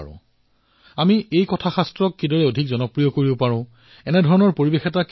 আমাৰ কথাশাস্ত্ৰসমূহক কিদৰে অধিক প্ৰচাৰিত কৰিব পাৰো আৰু প্ৰতিখন ঘৰত এই ভাল কথাসমূহৰ প্ৰচাৰৰ দ্বাৰা জনজীৱনো সুন্দৰ হব পাৰে